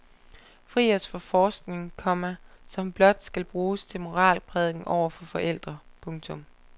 Fri os for forskning, komma som blot skal bruges til moralprædiken over for forældre. punktum